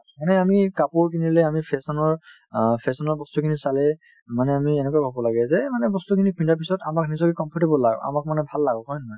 এনে মানে আমি কাপোৰ কিনিলে আমি fashion ৰ অ fashion ৰ বস্তুখিনি চালে মানে আমি এনেকৈ ভাবিব লাগে যে এই মানে বস্তুখিনি পিন্ধাৰ পিছত আমাক নিজকে comfortable লাগক আমাক মানে ভাল লাগক হয় নে নহয়